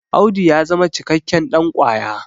Audu ya zama cikakken ɗankwaya